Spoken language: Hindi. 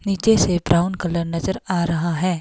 नीचे से ब्राउन कलर नजर आ रहा है।